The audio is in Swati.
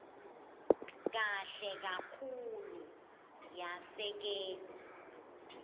kahle kakhulu yasekelwa